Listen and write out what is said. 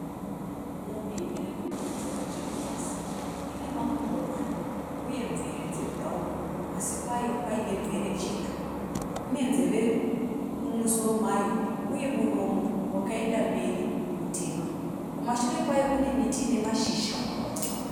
Mumhi irikunhuhwidza zviripasi. Ine makumbo mana uye mvere dzebhurawuni pasi payo paine mvere chena. Ine nzeve mumusoro mayo uye muromo wakaenda mberi mutema. Kumashure kwayo kune miti ine mashizha.